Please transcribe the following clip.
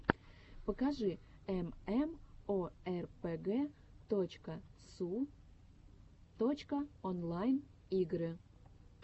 покажи эмэмоэрпэгэ точка су точка онлайн игры